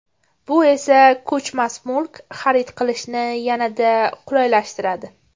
Bu esa ko‘chmas mulk xarid qilishni yanada qulaylashtiradi!